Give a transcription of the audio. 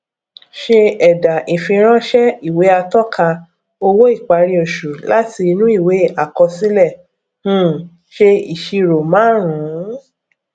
se ẹdà ìfiránsẹ ìwé atọka owó ìparí oṣù láti inú ìwé àkọsílẹ um ṣe ìṣirò márùnún